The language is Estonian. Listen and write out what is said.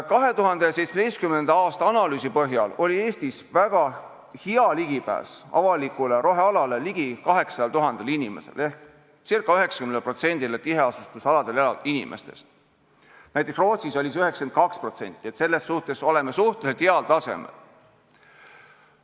2017. aasta analüüsi põhjal oli Eestis väga hea ligipääs avalikule rohealale ligi 800 000 inimesel ehk ca 90%-l tiheasustusaladel elavatest inimestest, näiteks Rootsis oli see 92%, selles mõttes oleme suhteliselt heal tasemel.